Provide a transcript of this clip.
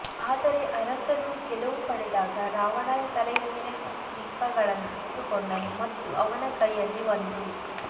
ಆದರೆ ಅರಸನು ಗೆಲುವು ಪಡೆದಾಗ ರಾವಣನ ತಲೆಯ ಮೇಲೆ ಹತ್ತು ದೀಪಗಳನ್ನು ಇಟ್ಟುಕೊಂಡನು ಮತ್ತು ಅವನ ಕೈಯಲ್ಲಿ ಒಂದು